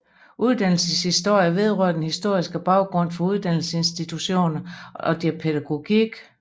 Uddannelseshistorie vedrører den historiske baggrund for uddannelsesinstitutioner og deres pædagogik